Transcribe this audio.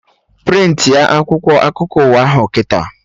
Prịntị a akwụkwọ akụkọ ụwa ahụ kịta!